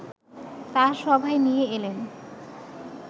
তাঁর সভায় নিয়ে এলেন